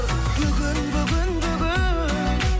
бүгін бүгін бүгін